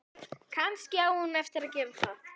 Kannski á hún eftir að gera það.